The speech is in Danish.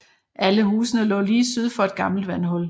Alle husene lå lige syd for et gammelt vandhul